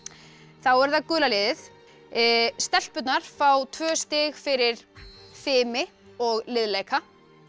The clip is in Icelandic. þá er það gula liðið stelpurnar fá tvö stig fyrir fimi og liðleika